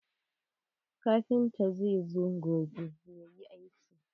Kafintan zai zo gobe yayi aikin.